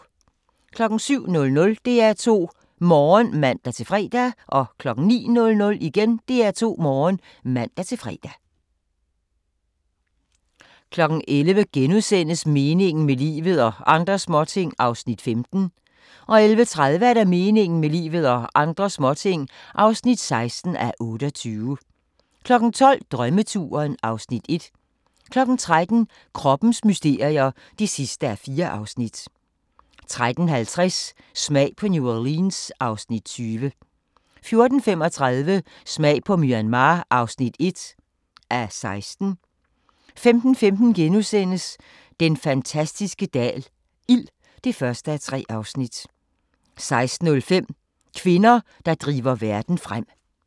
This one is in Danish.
07:00: DR2 Morgen (man-fre) 09:00: DR2 Morgen (man-fre) 11:00: Meningen med livet – og andre småting (15:28)* 11:30: Meningen med livet – og andre småting (16:28) 12:00: Drømmeturen (Afs. 1) 13:00: Kroppens mysterier (4:4) 13:50: Smag på New Orleans (Afs. 20) 14:35: Smag på Myanmar (1:16) 15:15: Den fantastiske dal – ild (1:3)* 16:05: Kvinder, der driver verden frem